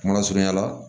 Kuma surunya la